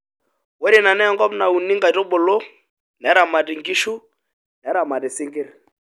Ore ina naa enkop nauni nkaitubulu, neramati nkishu, neramati isinkir.